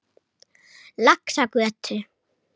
Laxagötu